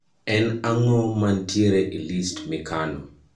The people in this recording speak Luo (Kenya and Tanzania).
en ang`o mantiere e list mikano